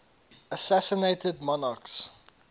assassinated monarchs